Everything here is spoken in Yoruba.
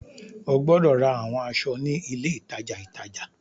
O gbọdọ ra awọn aṣọ ni ile itaja itaja!